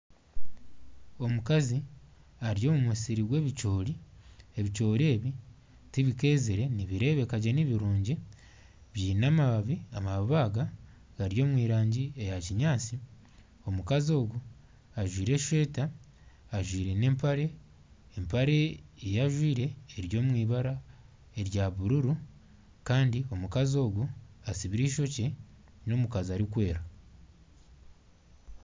Omukazi ari omu musiri gw'ebicoori. Ebicoori ebi tibikeezire nibireebeka gye nibirungi. Biine amababi, amababi aga gari omu rangi eya kinyaatsi. Omukazi ogu ajwaire eshweta, ajwaire n'empare. Empare ei ajwaire eri omu eibara erya bururu kandi omukazi ogu atsibire eishokye. N'omukazi arikwera.